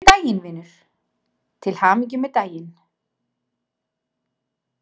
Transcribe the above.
Til hamingju með daginn, vinur, til hamingju með daginn.